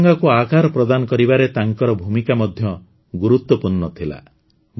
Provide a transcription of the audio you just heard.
ତ୍ରିରଙ୍ଗାକୁ ଆକାର ପ୍ରଦାନ କରିବାରେ ତାଙ୍କର ଭୂମିକା ମଧ୍ୟ ଗୁରୁତ୍ୱପୂର୍ଣ୍ଣ ଥିଲା